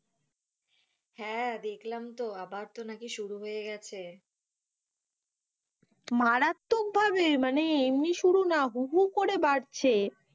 হ্যাঁ, দেখলাম তো আবার তো নাকি শুরু হয়ে গেছে মারাত্মক ভাবে মানে এমনি না হু, হু, করে বাড়ছে,